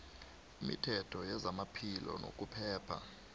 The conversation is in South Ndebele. imithetho yezamaphilo nokuphepha